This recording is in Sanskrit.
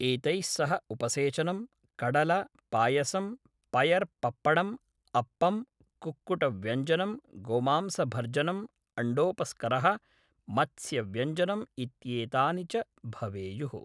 एतैः सह उपसेचनं, कडल, पायसं, पयर् पप्पडम्, अप्पं, कुक्कुटव्यञ्जनं, गोमांसभर्जनम्, अण्डोपस्करः, मत्स्यव्यञ्जनं इत्येतानि च भवेयुः।